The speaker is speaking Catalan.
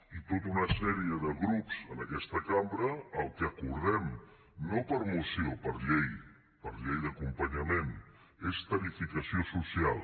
i tota una sèrie de grups en aquesta cambra el que acordem no per moció per llei per llei d’acompanyament és tarifació social